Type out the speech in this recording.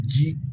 Ji